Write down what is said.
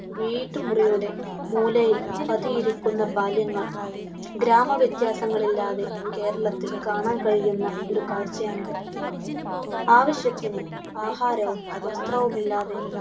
വീട്ടുമുറിയുടെ മൂലയിൽ പതിയിരിക്കുന്ന ബാല്യങ്ങൾ! ഗാമ വ്യത്യാസങ്ങളില്ലാതെ കേരളത്തിൽ കാണാൻ കഴിയുന്ന ഒരു കാഴ്ചയാണിത്. ആവശ്യത്തിന് ആഹാരവും വസ്ത്രവും ഇല്ലാതെ